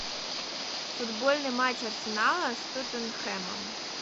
футбольный матч арсенала с тоттенхэмом